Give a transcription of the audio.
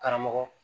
Karamɔgɔ